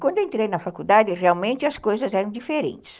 Quando entrei na faculdade, realmente as coisas eram diferentes.